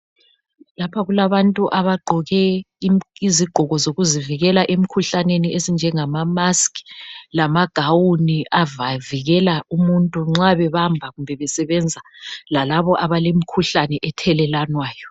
Lapha kulabantu abagqoke izigqoko zokuzivikela emkhuhlaneni ezinjengamamaski lamagawuni avikela umuntu nxa bebamba kumbe besebenza lalabo abalomkhuhlane ethelelwana.